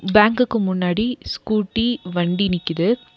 பேங்க்குக்கு முன்னாடி ஸ்கூட்டி வண்டி நிக்குது.